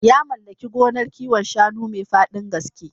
Ya mallaki gonar kiwon shanu mai faɗin gaske.